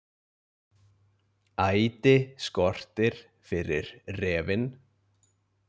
Æti skortir fyrir refinn